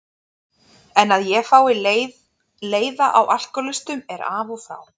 En að ég fái leiða á alkohólistum er af og frá.